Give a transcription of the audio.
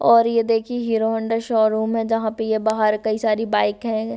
और ये देखी हीरो होंडा शोरूम है जहां पे ये बाहर कई सारी बाइक है।